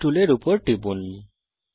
এলিপসে টুলের উপর টিপুন